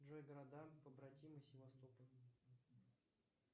джой города побратимы севастополя